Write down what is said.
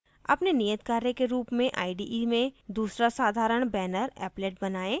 अपने नियतकार्य के रूप में ide में दूसरा साधारण banner applet बनाएँ